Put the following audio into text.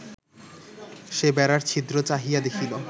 সে বেড়ার ছিদ্র চাহিয়া দেখিল